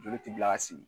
Joli ti bila ka sigi